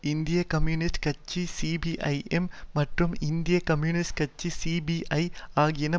இந்திய கம்யூனிஸ்ட் கட்சி சிபிஐஎம் மற்றும் இந்திய கம்யூனிஸ்ட் கட்சி சிபிஐ ஆகியன